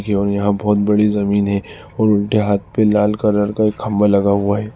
यहां बहुत बड़ी जमीन है और उल्टे हाथ पे लाल कलर का खंभा लगा हुआ है।